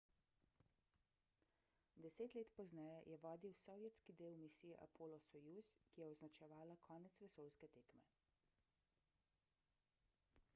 deset let pozneje je vodil sovjetski del misije apollo-soyuz ki je označevala konec vesoljske tekme